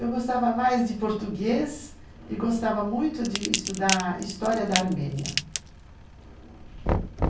Eu gostava mais de português e gostava muito de estudar História da Armênia.